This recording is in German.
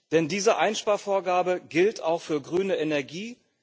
Denn diese Einsparvorgabe gilt auch für grüne Energie.